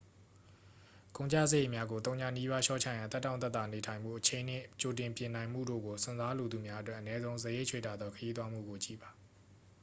ကုန်ကျစရိတ်များကို သုညနီးပါး လျှော့ချရန် သက်တောင့်သက်သာနေထိုင်မှု အချိန်နှင့် ကြိုပြင်နိုင်မှုတို့ကို စွန့်စားလိုသူများအတွက် အနည်းဆုံး စရိတ်ချွေတာသော ခရီးသွားမှုကို ကြည့်ပါ